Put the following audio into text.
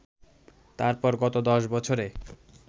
তারপর গত দশ বছরে